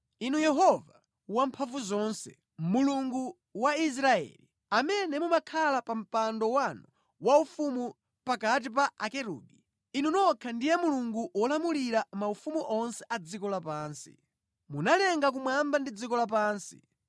“Inu Yehova Wamphamvuzonse, Mulungu wa Israeli, amene mumakhala pa mpando wanu waufumu pakati pa akerubi, Inu nokha ndiye Mulungu wolamulira maufumu onse a dziko lapansi. Munalenga kumwamba ndi dziko lapansi.